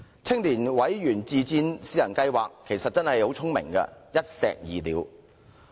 青年委員自薦私人計劃是個很聰明的一石二鳥方案。